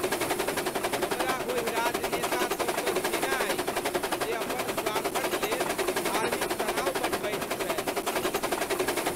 हमरा ओहि राजनेता सभसँ घृणा अछि जे अपन स्वार्थक लेल धार्मिक तनाव बढ़बैत छथि।